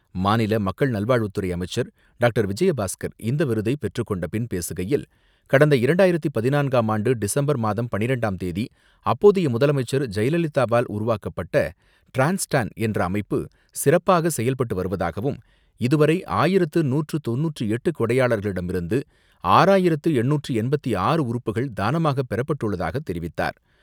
மாநில மக்கள் நல்வாழ்வுத்துறை அமைச்சர் டாக்டர் விஜயபாஸ்கர் இந்த விருதை பெற்றுக்கொண்ட பின் பேசுகையில், கடந்த இரண்டாயிரத்து பதினான்காம் ஆண்டு டிசம்பர் மாதம் பன்னிரெண்டாம் தேதி அப்போதைய முதலமைச்சர் ஜெயலலிதாவால் உருவாக்கப்பட்ட டிரான்ஸ்டேன் என்ற அமைப்பு சிறப்பாக செயல்பட்டு வருவதாகவும், இதுவரை ஆயிரத்து நூற்று தொண்ணூற்றி எட்டு கொடையாளர்களிடமிருந்து ஆயிரத்து எண்ணூற்று எண்பத்து ஆறு உறுப்புகள் தானமாக பெறப்பட்டுள்ளதாக தெரிவித்தார்.